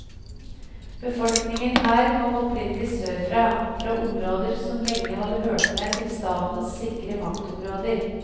Befolkningen her kom opprinnelig sørfra, fra områder som lenge hadde hørt med til statens sikre maktområder.